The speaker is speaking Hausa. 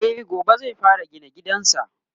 e gobe zai fara gina gidansa